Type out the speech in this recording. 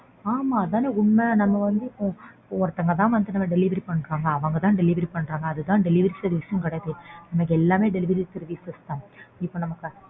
ஆமா அதுதான உண்மை. நம்ம வந்து இப்போ ஒருத்தவங்க தான் வந்து delivery பண்றாங்க அவங்க தான் delivery பண்றாங்க அதுதான் delivery service ன்னு கிடையாது. நமக்கு எல்லாமே delivery services தான். இப்போ நம்ம